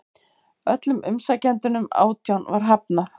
Öllum umsækjendunum átján var hafnað